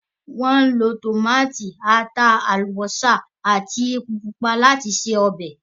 Wọ́n lo tòmátì, ata, àlùbósà àti epo pupa láti se ọbẹ̀.